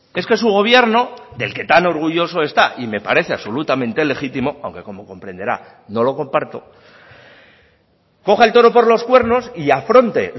es que su gobierno del que tan orgulloso está y me parece absolutamente legítimo aunque como comprenderá no lo comparto coja el toro por los cuernos y afronte